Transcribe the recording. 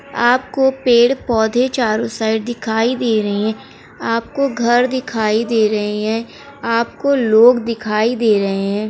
आपको पेड़ पौधे चारो साइड दिखाई दे रहे हैं आपको घर दिखाई दे रहे हैं आपको लोग दिखाई दे रहे हैं।